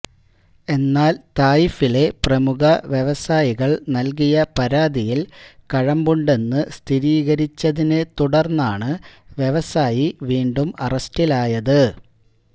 എന്നാൽ തായിഫിലെ പ്രമുഖ വ്യവസായികൾ നൽകിയ പരാതിയിൽ കഴമ്പുണ്ടെന്ന് സ്ഥിരീകരിച്ചതിനെ തുടന്നാണ് വ്യവസായി വീണ്ടും അറസ്റ്റിലായത്